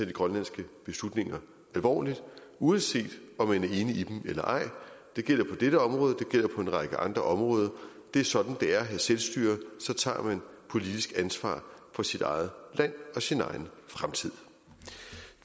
de grønlandske beslutninger alvorligt uanset om man er enig i dem eller ej det gælder på dette område det gælder på en række andre områder det er sådan det er at have selvstyre så tager man politisk ansvar for sit eget land og sin egen fremtid